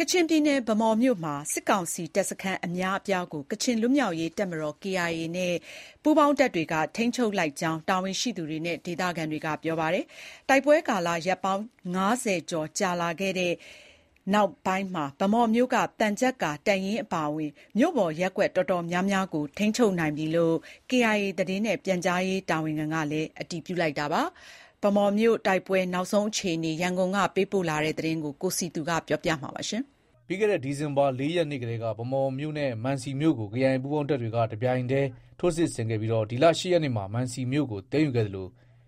ကချင်ပြည်နယ် ဗန်းမော်မြို့မှာ စစ်ကောင်စီ တပ်စခန်း အများအပြားကို ကချင်လွတ်မြောက်ရေးတပ်မတော် KIA နဲ့ပူးပေါင်းတပ်တွေက ထိန်းချုပ်လိုက်ကြောင်း တာဝန်ရှိသူတွေနဲ့ ဒေသခံတွေက ပြောပါတယ်။ တိုက်ပွဲကာလ ရက်ပေါင်း ၅၀ ကျော်ကြာလာခဲ့တဲ့ နောက် ဗန်းမော်မြို့က သံချပ်ကာတပ်ရင်းအပါအဝင် မြို့ပေါ် ရပ်ကွက် တော်တော်များများကို ထိန်းချုပ်နိုင်ပြီလို့ KIA သတင်းနဲ့ ပြန်ကြားရေး တာဝန်ခံကလည်း အတည်ပြုခဲ့တာပါ။ ဗန်းမော်မြို့ တိုက်ပွဲနောက်ဆုံးအခြေအနေ ရန်ကုန်က သတင်းပေးပို့ ထားပါတယ်။ ပြီးခဲ့တဲ့ ဒီဇင်ဘာ ၄ ရက်နေ့ကတည်းက ဗန်းမော်မြို့နဲ့ မံစီမြို့ကို KIA ပူးပေါင်းတပ်တွေက တပြိုင်ထဲ ထိုးစစ်ဆင်ခဲ့ပြီး ဒီလ ၈ရက်နေ့မှာ မံစီမြို့ကို သိမ်းယူခဲ့သလို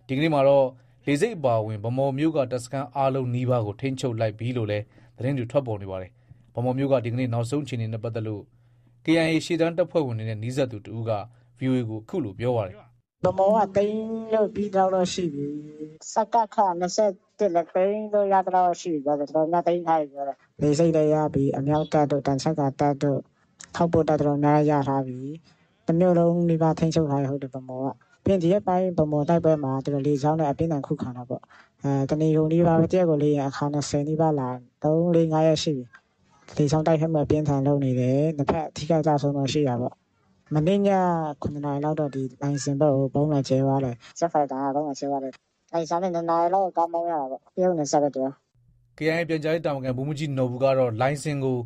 ဒီကနေ့မှာတော့ လေဆိပ်အပါအဝင် ဗန်းမော်မြို့က တပ်စခန်းအားလုံး နီးပါးကို ထိန်းချုပ်လိုက်ပြီလို့လည်း သတင်းတွေ ထွက်ပေါ်နေပါတယ်။ ဗန်းမော်မြို့က ဒီကနေ့ နောက်ဆုံးအခြေအနေနဲ့ ပတ်သက်လို့ KIA ရှေ့တန်းတပ်ဖွဲ့ဝင်တွေနဲ့ နီးစပ်သူ တဦးက ဗွီအိုအေကို အခုလို ပြောပါတယ်။ “ ဗန်းမော်က သိမ်းလို့ ပြီးသလောက်တော့ ရှိပြီ။ စကခ ၂၁လည်း သိမ်းလို့ ရလောက်တော့တော့ရှိပြီ ပြောတယ်။ တော်တော်များများ သိမ်းထားပြီပြောတယ်။ လေဆိပ်လည်း ရပြီ။ အမြောက်တပ်တို့၊ သံချပ်ကာတပ်တို့၊ ထောက်ပို့တပ် တော်တော်များများလည်း ရထားပြီ။ တမြို့လုံးနီးပါး ထိန်းချုပ်ထားပြီ ဗန်းမော်က။ ဒီရက်ပိုင်း ဗန်းမော်တိုက်ပွဲမှာ သူတို့က လေကြောင်းနဲ့ အပြင်းအထန် ခုခံတာပေါ့။ တနေကုန်နီးပါးပဲ။ တရက်ကို လေယာဉ် အခါ ၂၀နီးပါးလာတယ်။ ၃-၄ - ၅ရက်ရှိပြီ။ လေကြောင်းတိုက်ခိုက်မှု အပြင်းအထန်လုပ်နေတယ်။ နှစ်ဖက် အထိအခိုက်အကျအဆုံးတော့ ရှိတာပေါ့။ မနေ့ညက ၇နာရီလောက်တော့ လိုင်စင်ဘက်ကို ဗုံးလာကြဲသွားတယ်။ ဂျက်ဖိုက်တာ နဲ့ ဗုံးလာကြဲသွားတယ်။ လိုင်ဇာနဲ့ ၂နာရီလောက် ကားမောင်းရတာပေါ့။ တရုတ်နယ်စပ်ပဲ သူလည်း။” KIA ပြန်ကြားရေးတာဝန်ခံ ဗိုလ်မှူးကြီးနော်ဘူကတော့ လိုင်စင်ကို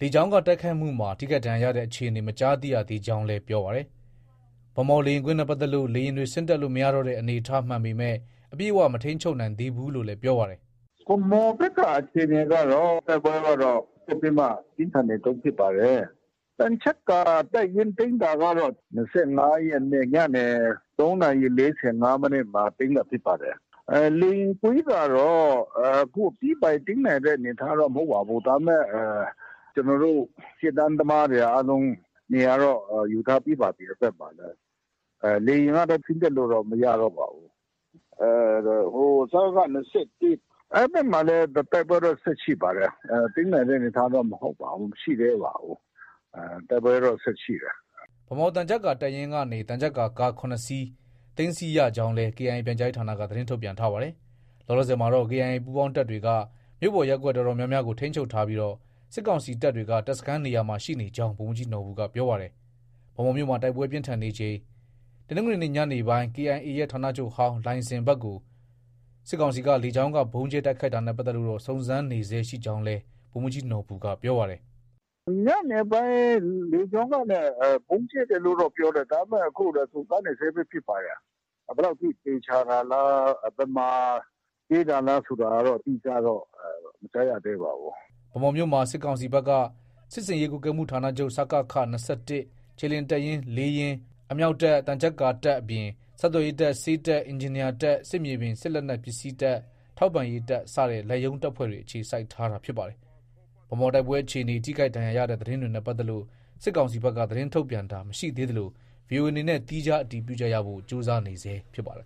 လေကြောင်းက တိုက်ခိုက်မှုမှာ ထိခိုက်ဒဏ်ရာရတဲ့ အခြေအနေ မကြားသိရသေးကြောင်း ပြောပါတယ်။ ဗန်းမော် လေယာဉ်ကွင်းနဲ့ ပတ်သက်လို့ လေယာဉ်တွေ ဆင်းတက်လို့မရတော့တဲ့ အနေအထား မှန်ပေမဲ့ အပြည့်အ၀ မထိန်းချုပ်နိုင်သေးဘူးလို့လည်း ပြောပါတယ်။ “ ဗန်းမော်ဘက်က အခြေအနေကတော့ တိုက်ပွဲကတော့ ဆက်ပြီး ပြင်းထန်နေတုံးဖြစ်ပါတယ်။ သံချပ်ကာတပ်ရင်းသိမ်းတာကတော့ ၂၅ ရက်နေ့ ညနေ ၃ နာရီ ၄၅ မိနစ်မှာ သိမ်းတာ ဖြစ်ပါတယ်။ လေယာဉ်ကွင်းကတော့ အခု အပြီးအပိုင် သိမ်းနိုင်တဲ့အနေအထားတော့ မဟုတ်ပါဘူး။ ဒါပေမဲ့ ကျနော်တို့ ရှေ့တန်းသမားတွေ အားလုံး နေရာတော့ ယူထားပြီးပါပြီ အဲဒီဘက်မှာလည်း။ လေယာဉ်ကတော့ ဆင်း တက်လို့တော့ မရတော့ပါဘူး။ ဟို စကခ ၂၁ အဲဒီဘက်မှာလည်း တိုက်ပွဲတော့ ဆက်ရှိပါတယ်။ သိမ်းနိုင်တဲ့ အနေအထားတော့ မဟုတ်ပါဘူး။ တိုက်ပွဲကတော့ ဆက်ရှိတယ်။” ဗန်းမော် သံချပ်ကာ တပ်ရင်းကနေ သံချပ်ကာကား ၇ စီး သိမ်းဆည်းရကြောင်းလည်း KIA ပြန်ကြားရေးဌာနက သတင်းထုတ်ပြန်ထားပါတယ်။ လောလောဆည်မှာတော့ KIA ပူးပေါင်းတပ်တွေက မြို့ပေါ်ရပ်ကွက် အတော်များများကို ထိန်းချုပ်ထားပြီး စစ်ကောင်စီတပ်တွေက တပ်စခန်းနေရာမှာ ရှိနေကြောင်း ဗိုလ်မှူးကြီးနော်ဘူက ပြောပါတယ်။ ဗန်းမော်မြို့မှာ တိုက်ပွဲပြင်းထန်နေချိန်မှာ တနင်္ဂနွေနေ့ ညနေပိုင်း KIA ရဲ့ ဌာနချုပ်ဟောင်း လိုင်စင်ဘက်ကို စစ်ကောင်စီက လေကြောင်းက ဗုံးကြဲတိုက်ခိုက်တာနဲ့ပတ်သက်လို့တော့ စုံစမ်းနေဆဲရှိကြောင်းလည်း ဗိုလ်မှူးကြီးနော်ဘူက ပြောပါတယ်။ “ ညနေပိုင်း လေကြောင်းကနေ ဗုံးကြဲတယ်လို့တော့ ပြောတယ်။ ဒါပေမဲ့ အခု စုံစမ်းနေဆဲပဲဖြစ်ပါတယ်။ ဘယ်လောက်ထိ သေချာသလဲ။ ဘယ်မှာ ကြဲတာလဲဆိုတာကတော့ အတိအကျတော့ မကြားရသေးပါဘူး။” ဗန်းမော်မြို့မှာ စစ်ကောင်စီဘက်က စစ်ဆင်ရေးကွပ်ကဲမှုဌာနချုပ် (စကခ) ၂၁ ၊ခြေလျင်တပ်ရင်း ၄ ရင်း၊ အမြောက်တပ်၊ သံချပ်ကာတပ်တပ်အပြင် ဆက်သွယ်ရေးတပ်၊ ဆေးတပ်၊ အင်ဂျင်နီယာတပ်၊ စစ်မြေပြင် စစ်လက်နက် ပစ္စည်းတပ်၊ ထောက်ပံ့ရေးတပ်စတဲ့ လက်ရုံးတပ်ဖွဲ့တွေ အခြေစိုက်ထားတာဖြစ်ပါတယ်။ ဗန်းမော်တိုက်ပွဲအခြေအနေ၊ ထိခိုက်ဒဏ်ရာရတဲ့ သတင်းတွေနဲ့ ပတ်သက်လို့ စစ်ကောင်စီဘက်က သတင်းထုတ်ပြန်တာ မရှိသေးသလို ဗွီအိုအေအနေနဲ့ သီးခြား အတည်ပြုချက်ရဖို့ ကြိုးစားနေဆဲဖြစ်ပါတယ်